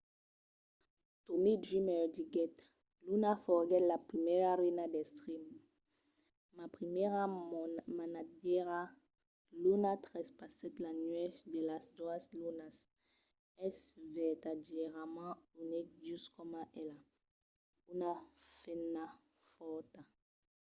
tommy dreamer diguèt luna foguèt la primièra reina d’extreme. ma primièra manatgièra. luna trespassèt la nuèch de las doas lunas. es vertadièrament unic just coma ela. una femna fòrta.